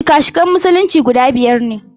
Shika-shikan Musulunci guda biyar ne.